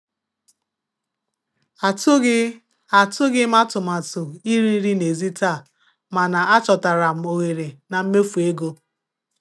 Atụghị Atụghị m atụmatụ iri nri n'èzí taa, mana achọtara m ohere na mmefu ego.